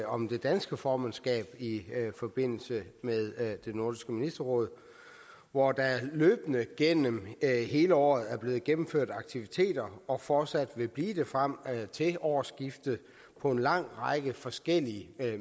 om det danske formandskab i forbindelse med nordisk ministerråd hvor der løbende gennem hele året er blevet gennemført aktiviteter og fortsat vil blive det frem til årsskiftet på en lang række forskellige